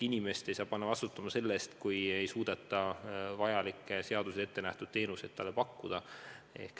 Inimest ei saa panna vastutama selle eest, kui talle ei suudeta vajalikke seaduses ette nähtud teenuseid pakkuda.